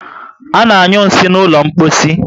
Ana anyu nsị n'ụlọ mposi